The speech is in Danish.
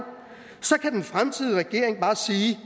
kan den fremtidige regering bare sige